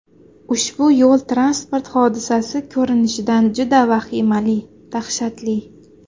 Ushbu yo‘l-transport hodisasi ko‘rinishidan juda vahimali, dahshatli.